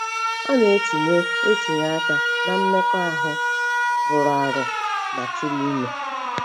Ọ na - etinye etinye aka ná mmekọahụ rụrụ arụ ma tụrụ ime.